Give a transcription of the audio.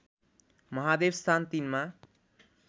महादेवस्थान ३ मा